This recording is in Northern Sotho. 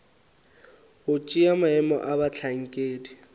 go tšea maemo a bohlankedi